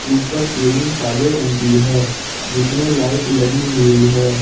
ऊपर सीलिंग सादे रंग की है जिसमे लाइट लगी हुई है।